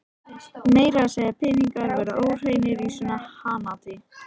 Meira að segja peningar verða óhreinir í svona hanaati.